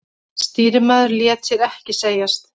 Stýrimaðurinn lét sér ekki segjast.